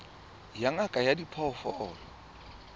ya ngaka ya diphoofolo ya